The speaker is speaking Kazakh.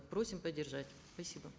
просим поддержать спасибо